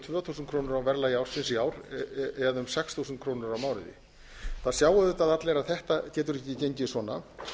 og tvö þúsund krónur á verðlagi ársins í ár eða um sex þúsund krónur á mánuði það sjá auðvitað allir að þetta getur ekki gengið svona